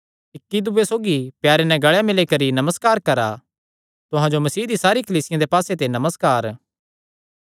इक्की दूये सौगी प्यारे नैं गल़े मिल्ली करी नमस्कार करा तुहां जो मसीह दी सारी कलीसियां दे पास्से ते नमस्कार